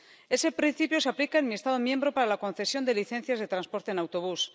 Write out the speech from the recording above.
Ese principio se aplica en mi Estado miembro para la concesión de licencias de transporte en autobús.